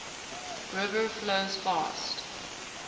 river flows fast